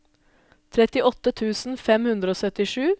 trettiåtte tusen fem hundre og syttisju